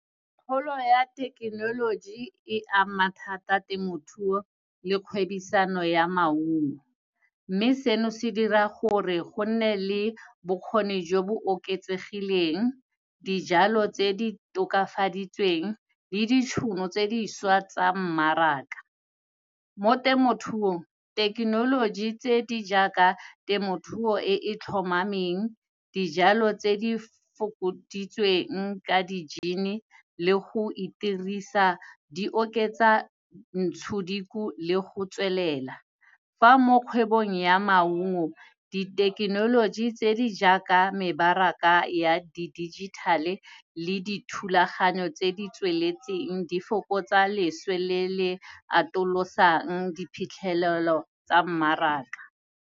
Kgolo ya thekenoloji, e ama thata temothuo le kgwebisano ya maungo. Mme seno, se dira gore go nne le bokgoni jo bo oketsegileng, dijalo tse di tokafaditsweng le ditšhono tse dišwa tsa mmaraka. Mo temothuong, thekenoloji tse di jaaka temothuo e e tlhomameng, dijalo tse di fokoditsweng ka di-gene-e le go itirisa, di oketsa ntshodiku le go tswelela. Fa mo kgwebong ya maungo, dithekenoloji tse di jaaka mebaraka ya di-digital-e le dithulaganyo tse di tsweletseng, di fokotsa leswe le le atolosang diphitlhelelo tsa mmaraka.